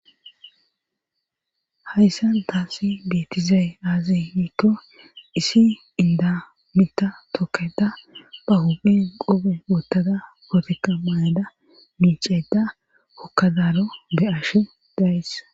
hayssan taasi beetizay aazi niikko isi inda mita hokkeda ba huphen qube wottada goteka mayada miiceda hokkadaaro be ash days